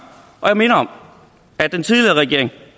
og jeg minder om at den tidligere regering